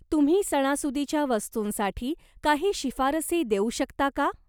तुम्ही सणासुदीच्या वस्तूंसाठी काही शिफारसी देऊ शकता का?